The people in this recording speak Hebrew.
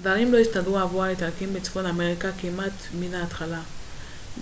דברים לא הסתדרו עבור האיטלקים בצפון אפריקה כמעט מן ההתחלה